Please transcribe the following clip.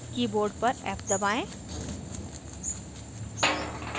keyboard पर f दबाएं